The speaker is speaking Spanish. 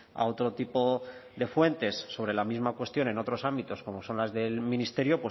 a otro tipo de fuentes sobre la misma cuestión en otros ámbitos como son las del ministerio